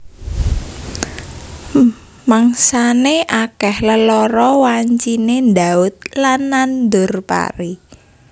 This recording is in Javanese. Mangsané akèh lelara wanciné ndhaut lan nandur pari